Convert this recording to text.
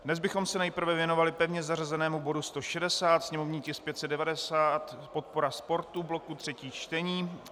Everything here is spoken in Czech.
Dnes bychom se nejprve věnovali pevně zařazenému bodu 160, sněmovní tisk 590, podpora sportu, bloku třetích čtení.